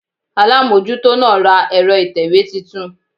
Alámójútó náà ra ẹ̀rọ ìtẹ̀wé titun